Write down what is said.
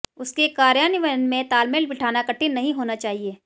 उसके कार्यान्वयन में तालमेल बिठाना कठिन नहीं होना चाहिए